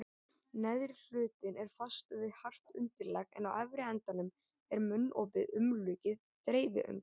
Neðri hlutinn er fastur við hart undirlag en á efri endanum er munnopið umlukið þreifiöngum.